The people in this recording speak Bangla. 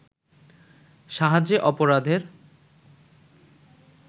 সাহায্যে অপরাধের